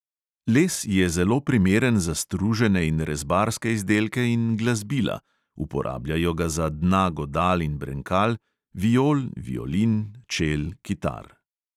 Les je zelo primeren za stružene in rezbarske izdelke in glasbila (uporabljajo ga za dna godal in brenkal – viol, violin, čel, kitar).